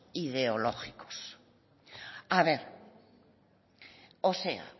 ideológicos a ver